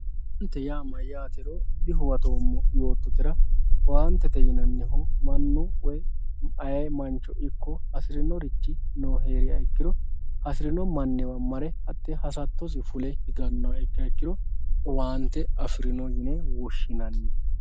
owaante yaa mayyaatero dihuwatoommo yoottotera owaantete yinannihu mannu woyi ayee mancho ikko afirinorichi heeriha ikkiro hasirino manniwa mare hattee hasattosi fule higannoha ikkiha ikkiro owaante afirino yine woshshinanni.